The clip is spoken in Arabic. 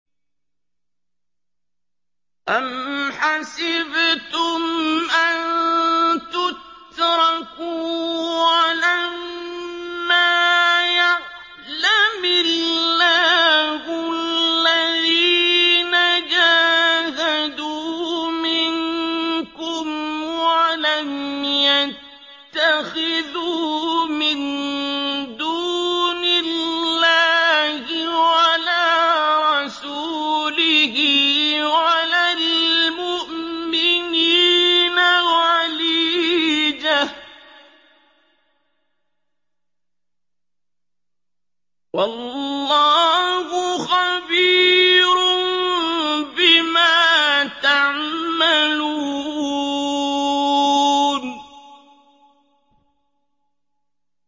أَمْ حَسِبْتُمْ أَن تُتْرَكُوا وَلَمَّا يَعْلَمِ اللَّهُ الَّذِينَ جَاهَدُوا مِنكُمْ وَلَمْ يَتَّخِذُوا مِن دُونِ اللَّهِ وَلَا رَسُولِهِ وَلَا الْمُؤْمِنِينَ وَلِيجَةً ۚ وَاللَّهُ خَبِيرٌ بِمَا تَعْمَلُونَ